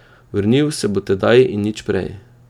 Vrnil se bo tedaj in nič prej.